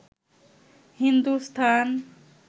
Hindustan